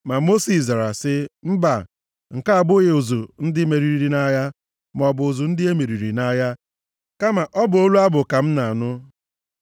Ma Mosis zara sị, “Mba, nke a abụghị ụzụ ndị meriri nʼagha, maọbụ ụzụ ndị e meriri nʼagha, kama ọ bụ olu abụ ka m na-anụ.”